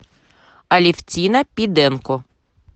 алевтина пиденко